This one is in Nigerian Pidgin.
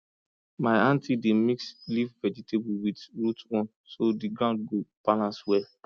my aunty dey mix leaf vegetable with root one so the ground go balance well